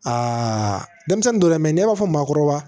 Aa denmisɛnnin dɔ dɛmɛn n'e b'a fɔ maakɔrɔba